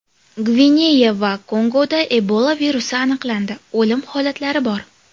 Gvineya va Kongoda Ebola virusi aniqlandi, o‘lim holatlari bor.